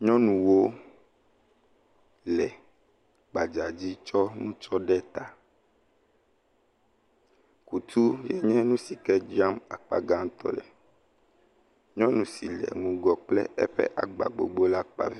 Nyɔnuwo le gbadzadzi tsɔ nutsɔ ɖe ta, kutu enye nu si ke dzram akpa gãtɔ le, nyɔnu si le ŋgɔ kple eƒe agba gbogbo la…